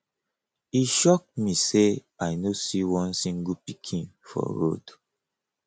e shock me say i no see one single pikin for road